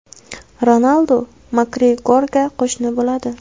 Ronaldu Makgregorga qo‘shni bo‘ladi.